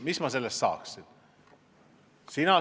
Mis ma sellest saaksin?